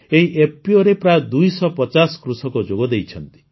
ଏହି EPOରେ ପ୍ରାୟ ଦୁଇଶହ ପଚାଶ କୃଷକ ଯୋଗଦେଇଛନ୍ତି